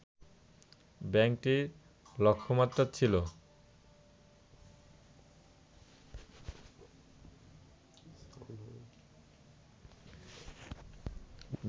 ব্যাংকটির লক্ষ্যমাত্রা ছিল